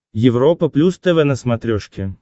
европа плюс тв на смотрешке